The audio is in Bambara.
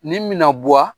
Nin mina bɔ wa